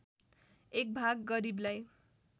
एक भाग गरीबलाई